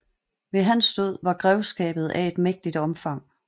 Ved hans død var grevskabet af et mægtigt omfang